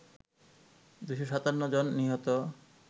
২৫৭ জন নিহত